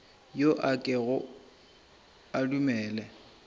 yo a kego a dumele